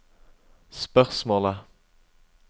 spørsmålet